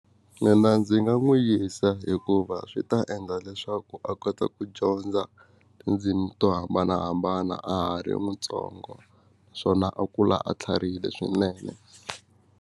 Mina ndzi nga n'wi yisa hikuva swi ta endla leswaku a kota ku dyondza tindzimi to hambanahambana a ha ri mutsongo naswona a kula a tlharihile swinene.